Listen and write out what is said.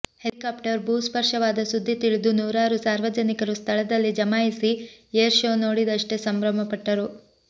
helicopter ಭೂ ಸ್ಪರ್ಶ ವಾದ ಸುದ್ದಿ ತಿಳಿದು ನೂರಾರು ಸಾರ್ವಜನಿಕರು ಸ್ಥಳದಲ್ಲಿ ಜಮಾಯಿಸಿ ಏರ್ ಶೋ ನೋಡಿದಷ್ಟೆ ಸಂಭ್ರಮಪಟ್ಟರು